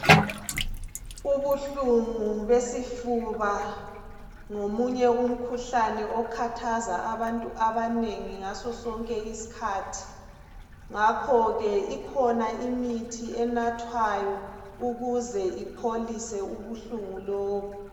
Ubuhlungu besifuba ngomunye umkhuhlane okhathaza abantu abanengi ngaso sonke isikhathi ngakho ke ikhona imithi enathwayo ukuze ipholise ubuhlungu lobu.